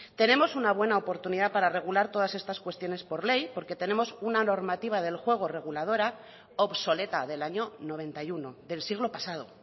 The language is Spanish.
tenemos una buena oportunidad para regular todas estas cuestiones por ley porque tenemos una normativa del juego reguladora obsoleta del año noventa y uno del siglo pasado